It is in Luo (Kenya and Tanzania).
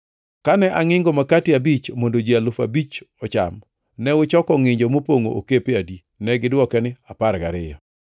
Kane angʼingo makati abich mondo ji alufu abich ocham, ne uchoko ngʼinjo mopongʼo okepe adi?” Negidwoke niya, “Apar gariyo.”